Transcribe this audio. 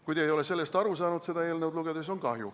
Kui te ei ole sellest aru saanud seda eelnõu lugedes, siis on kahju.